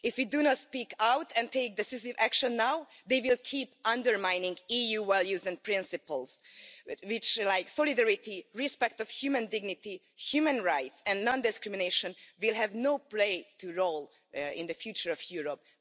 If we do not speak out and take decisive action now they will keep undermining EU values and principles which, like solidarity, respect of human dignity, human rights and non discrimination will have no role to play in the future of Europe.